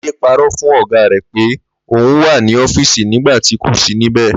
Láídé paró̩ fún ò̩gá rè̩ pé òun wà ní ó̩fíìsì nígbà tí kò sí níbè̩